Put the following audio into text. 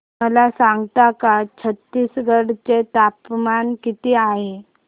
मला सांगता का छत्तीसगढ चे तापमान किती आहे